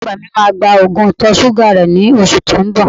Ìyá àgbà mi máa gba Ògùn ìtọ̀-ṣúgà rẹ ní oṣù tó ń bọ